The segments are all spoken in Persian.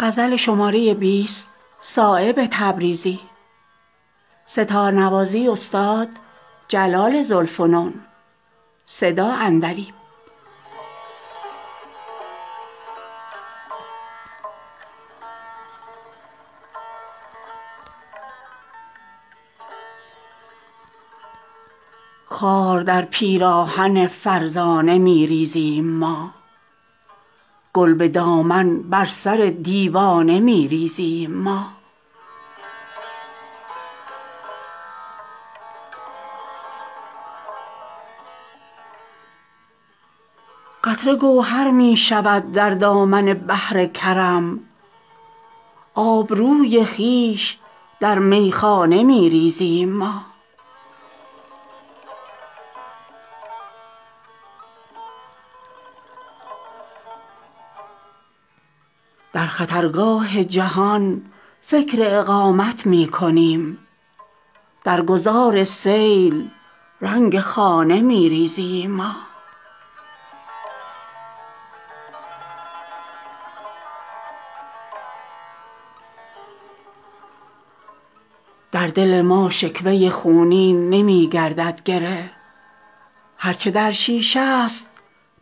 اشک پیش مردم فرزانه می ریزیم ما در زمین شور دایم دانه می ریزیم ما از کمین گریه ما ای فلک غافل مشو بی خبر چون سیل در ویرانه می ریزیم ما قطره گوهر می شود چون واصل دریا شود آبروی خویش در میخانه می ریزیم ما بر سر آب روان زندگانی چون حباب ساده لوحی بین که رنگ خانه می ریزیم ما نیست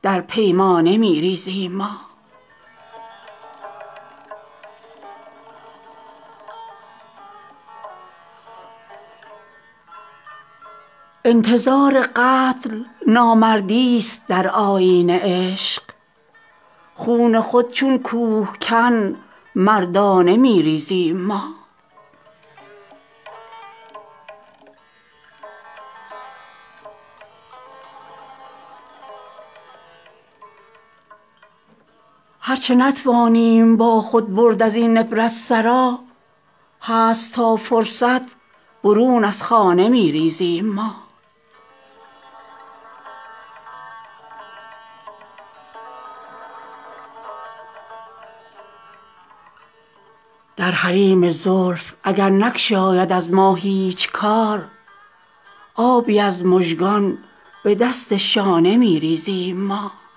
در طینت جدایی عاشق و معشوق را شمع از خاکستر پروانه می ریزیم ما مرد سیلاب گرانسنگ حوادث نیستیم رخت هستی را برون زین خانه می ریزیم ما خاطری معمور کردن از دو عالم خوشترست گنج را در دامن ویرانه می ریزیم ما تا مگر مرغ همایونی شکار ما شود پیش هر مرغی که باشد دانه می ریزیم ما پیش ازان دم کز نصیحت عیش ما سازند تلخ زهر خود بر مردم فرزانه می ریزیم ما یا در آن زلف پریشان جای خود وا می کنیم یا به خاک ره ز دست شانه می ریزیم ما دیگران ز افسانه می ریزند صایب رنگ خواب سرمه بیداری از افسانه می ریزیم ما